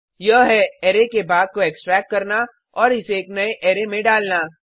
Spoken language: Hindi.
यह है अरै के भाग को एक्स्ट्रेक्ट करना और इसे एक नए अरै में डालना